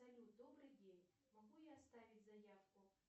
салют добрый день могу я оставить заявку